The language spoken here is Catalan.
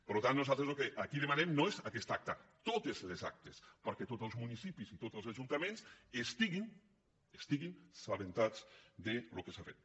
per tant nosaltres el que aquí demanem no és aquesta acta totes les actes perquè tots els municipis i tots els ajuntaments estiguin assabentats del que s’ha fet